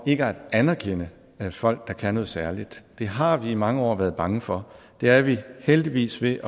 ikke at anerkende folk der kan noget særligt det har vi i mange år været bange for det er vi heldigvis ved